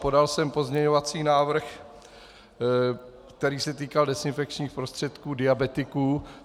Podal jsem pozměňovací návrh, který se týkal dezinfekčních prostředků diabetiků.